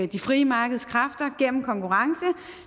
de frie markedskræfter gennem konkurrence